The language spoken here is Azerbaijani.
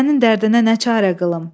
Sənin dərdinə nə çarə qılım?